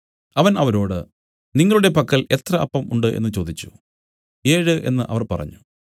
അവൻ അവരോട് നിങ്ങളുടെ പക്കൽ എത്ര അപ്പം ഉണ്ട് എന്നു ചോദിച്ചു ഏഴ് എന്നു അവർ പറഞ്ഞു